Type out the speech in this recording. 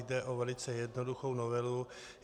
Jde o velice jednoduchou novelu.